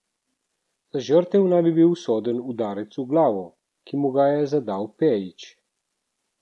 Za žrtev naj bi bil usoden udarec v glavo, ki mu ga je zadal Pejić.